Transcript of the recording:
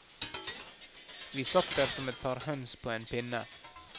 Vi satt der som et par høns på en pinne.